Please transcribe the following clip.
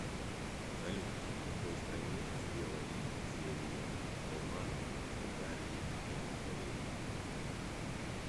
салют в какой стране сделали серия романов о гарри поттере